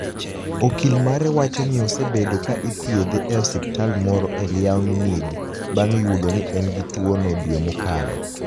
Okil mare wacho nii osebedo ka ithiedhe e osiptal moro e Liaoniinig banig ' yudo nii eni gi tuwono dwe mokalo.